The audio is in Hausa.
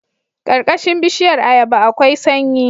Karkashin bishiyar ayaba akwai sanyi